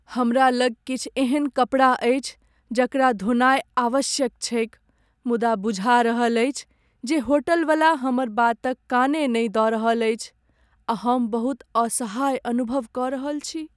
हमरा लग किछु एहन कपड़ा अछि जकरा धोनाय आवश्यक छैक मुदा बुझा रहल अछि जे होटलवला हमर बातक काने नहि दऽ रहल अछि आ हम बहुत असहाय अनुभव कऽ रहल छी ।